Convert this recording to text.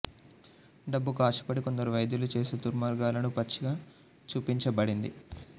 డబ్బుకు ఆశపడి కొందరు వైద్యులు చేసే దుర్మార్గాలను పచ్చిగా చూపించబడింది